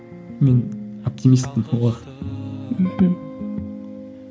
мен оптимистпін мхм